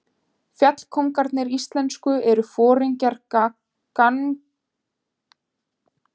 Fjallkóngarnir íslensku eru foringjar gangnamanna, einnig kallaðir leitarforingjar eða gangnastjórar.